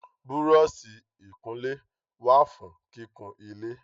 Búrọ́ọ̀sì ìkunlé wà fún kíkun ilé